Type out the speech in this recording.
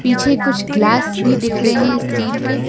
पीछे कुछ गिलास भी दिख रहे हैं स्टील के।